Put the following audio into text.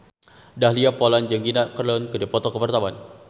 Dahlia Poland jeung Gina Carano keur dipoto ku wartawan